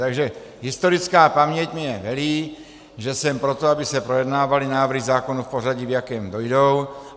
Takže historická paměť mně velí, že jsem pro to, aby se projednávaly návrhy zákonů v pořadí, v jakém dojdou.